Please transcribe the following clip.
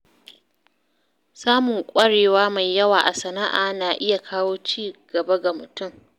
Samun ƙwarewa mai yawa a sana’a na iya kawo ci gaba ga mutum.